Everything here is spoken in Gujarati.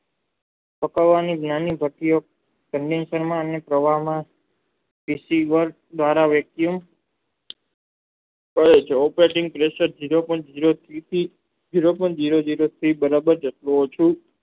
પાકવાની જ્ઞાની કરતી સમય નો દ્વારા વેક્યુમ કરે છે ZERO POINT ZERO થી ZERO PINTO ZERO ZERO THREE બરાબર જેટલું ઓછું